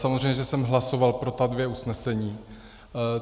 Samozřejmě že jsem hlasoval pro ta dvě usnesení.